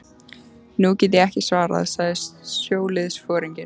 Nú get ég ekki svarað, sagði sjóliðsforinginn.